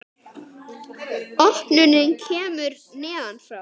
Opnunin kemur neðan frá.